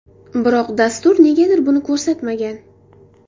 Biroq dastur negadir buni ko‘rsatmagan.